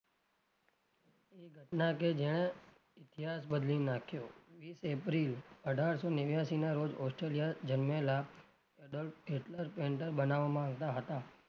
એ ઘટના કે જેને ઈતિહાસ બદલી નાખ્યો વિશ એપ્રિલ અઢારસો નેવ્યાશી ના રોજ ઓસ્ટ્રેલિયા જન્મેલાં બનાવામાં આવતાં હતાં પણ